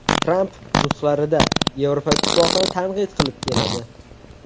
Tramp nutqlarida Yevropa Ittifoqini tanqid qilib keladi.